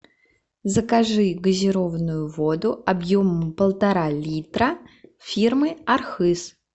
закажи газированную воду объемом полтора литра фирмы архыз